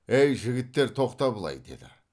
әй жігіттер тоқта былай деді